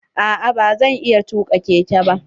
A'a ba zan iya tuka keke ba.